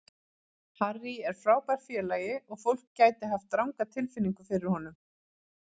Harry er frábær félagi og fólk gæti hafa ranga tilfinningu fyrir honum.